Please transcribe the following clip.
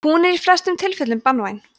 hún er í flestum tilfellum banvæn